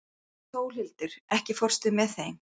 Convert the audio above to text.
Sólhildur, ekki fórstu með þeim?